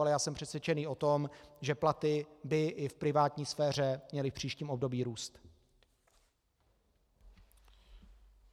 Ale já jsem přesvědčený o tom, že platy by i v privátní sféře měly v příštím období růst.